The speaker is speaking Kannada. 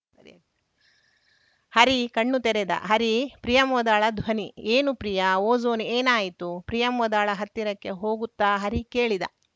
ಹರಿ ಕಣ್ಣು ತೆರೆದ ಹರೀಪ್ರಿಯಂವದಳ ಧ್ವನಿ ಏನು ಪ್ರಿಯಾ ಓಜೋನ್‌ ಏನಾಯಿತು ಪ್ರಿಯಂವದಳ ಹತ್ತಿರಕ್ಕೆ ಹೋಗುತ್ತಾ ಹರಿ ಕೇಳಿದ